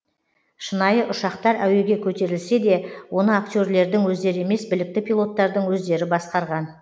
шынайы ұшақтар әуеге көтерілсе де оны актерлердің өздері емес білікті пилоттардың өздері басқарған